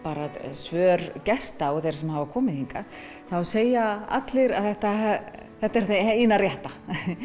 svör gesta og þeirra sem hafa komið hingað þá segja allir að þetta þetta er það eina rétta